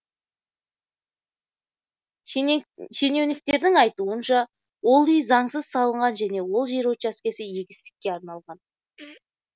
шенеуніктердің айтуынша ол үй заңсыз салынған және ол жер учаскесі егістікке арналған